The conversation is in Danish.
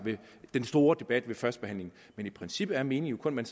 den store debat ved førstebehandlingen men i princippet er meningen kun at